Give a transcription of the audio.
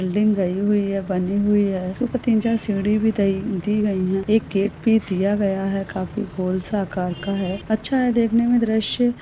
Building गई हुई है बानी हुई है तीन चार सीडी भी दई-दी गई है एक गेट भी दिया गया है काफी गोल सा आकार का है अच्छा है देखने मे दृश्य ।